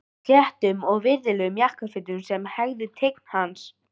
Í sléttum og virðulegum jakkafötum sem hæfðu tign hans.